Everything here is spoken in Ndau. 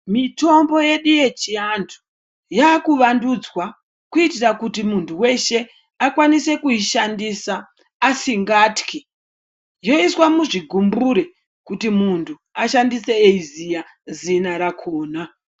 Mitombo yedu yechiantu yaakuvandudzwa kuitira kuti muntu weshe akwanise kuishandisa asingatyi. Yoiswa muzvigumbure kuti muntu ashandise eiziya zina rakona.